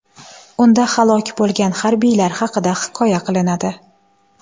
Unda halok bo‘lgan harbiylar haqida hikoya qilinadi.